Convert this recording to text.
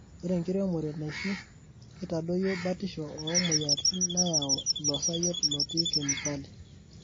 Ore enkiremore naishu keitadoyio batisho oo moyiaritin nayau ilo sayiet loti kemikol.